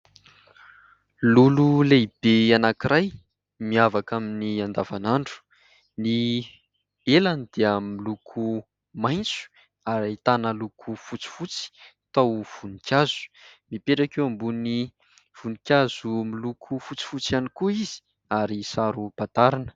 Lolo lehibe anankiray miavaka amin'ny andavanandro. Ny elany dia miloko maitso ary ahitana loko fotsifotsy toa voninkazo. Mipetraka eo ambony voninkazo miloko fotsifotsy ihany koa izy ary saro-pantarina.